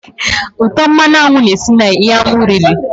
Útọ̀ mmanụ aṅụ na-esi na ihe anụ riri